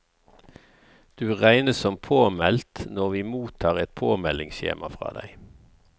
Du regnes som påmeldt når vi mottar et påmeldingsskjema fra deg.